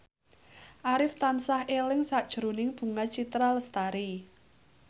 Arif tansah eling sakjroning Bunga Citra Lestari